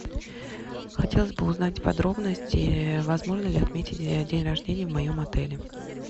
хотелось бы узнать подробности возможно ли отметить день рождения в моем отеле